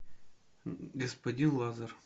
господин лазар